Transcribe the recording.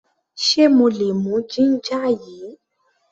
Ṣe mo lè mú ginger yìí?